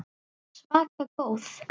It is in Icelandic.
Svaka góð.